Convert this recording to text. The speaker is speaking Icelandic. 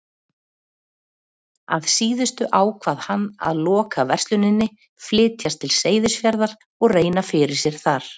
Að síðustu ákvað hann að loka versluninni, flytjast til Seyðisfjarðar og reyna fyrir sér þar.